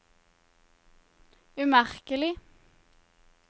umerkelig